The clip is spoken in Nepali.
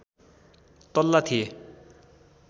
तल्ला थिए